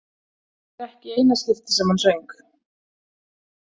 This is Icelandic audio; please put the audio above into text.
Þetta var ekki í eina skiptið sem hann söng.